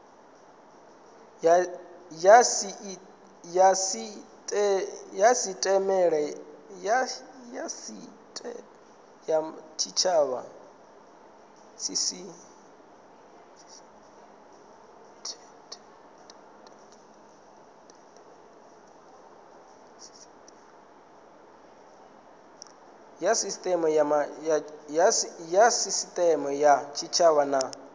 ya sisiteme ya tshitshavha na